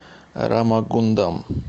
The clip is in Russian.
рамагундам